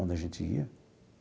Onde a gente ia.